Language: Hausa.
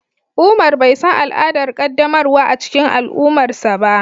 umar bai san al'adar qaddamarwa a cikin al'ummarsa ba.